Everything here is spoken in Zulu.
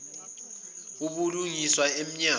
ubulungiswa em nyango